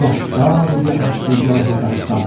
Gah dağ üzə əsdi, gahi daşda.